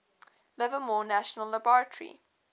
livermore national laboratory